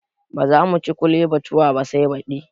Bazamu ci ( kole batua) ba sai baɗi